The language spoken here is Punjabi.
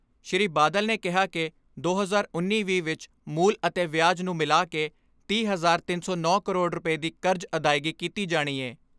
ਸ੍ਰੀ ਬਾਦਲ ਨੇ ਕਿਹਾ ਕਿ ਦੋ ਹਜ਼ਾਰ ਉੱਨੀ ਵੀਹ ਵਿਚ ਮੂਲ ਅਤੇ ਵਿਆਜ ਨੂੰ ਮਿਲਾ ਕੇ ਤੀਹ, ਤਿਨ ਸੌ ਨੌਂ ਕਰੋੜ ਰੁਪਏ ਦੀ ਕਰਜ਼ ਅਦਾਇਗੀ ਕੀਤੀ ਜਾਣੀ ਏ।